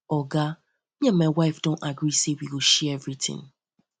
oga me and my wife wife do gree say wey go share everytin